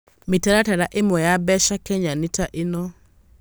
Mĩtaratara ĩmwe ya mbeca Kenya nĩ ta ĩno: